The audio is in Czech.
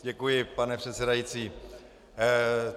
Děkuji, pane předsedající.